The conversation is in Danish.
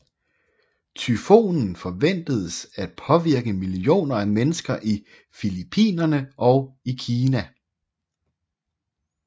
Tyfonen forventedes at påvirke millioner af mennesker i Filipinerne og i Kina